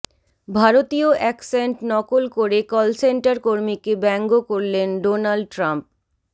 ভারতীয় অ্যাকসেন্ট নকল করে কলসেন্টার কর্মীকে ব্যঙ্গ করলেন ডোনাল্ড ট্রাম্প